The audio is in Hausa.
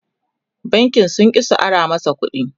bankin sun ƙi su Ara masa ƙuɗi